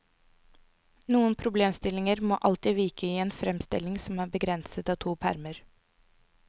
Noen problemstillinger må alltid vike i en fremstilling som er begrenset av to permer.